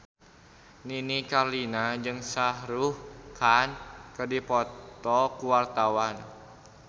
Nini Carlina jeung Shah Rukh Khan keur dipoto ku wartawan